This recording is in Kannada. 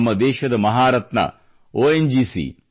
ನಮ್ಮ ದೇಶದ ಮಹಾರತ್ನ ಒಎನ್ ಜಿಸಿ